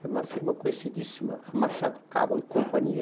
Era uma firma conhecidíssima, a Machado Caval e companhia.